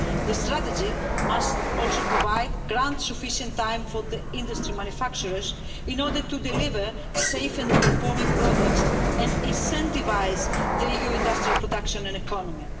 This strategy must also grant sufficient time for the industry's manufacturers in order to deliver safe and performing products and incentivise the EU industrial production and economy.